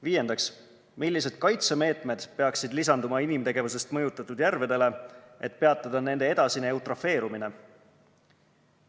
Viiendaks, millised kaitsemeetmed peaksid lisanduma inimtegevusest mõjutatud järvedele, et peatada nende edasine eutrofeerumine?